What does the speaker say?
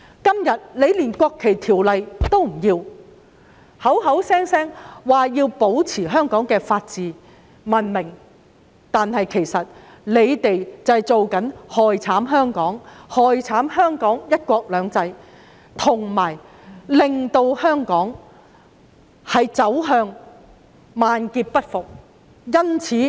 今天，反對派不肯通過《條例草案》，口口聲聲說要保持香港的法治及文明，但其實卻是在害慘香港，害慘香港"一國兩制"，令香港萬劫不復。